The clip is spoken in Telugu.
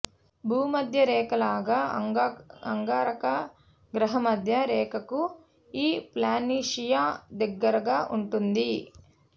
భూమధ్య రేఖ లాగ అంగారక గ్రహ మధ్య రేఖకు ఈ ప్లానిషియా దగ్గరగా ఉంటుంది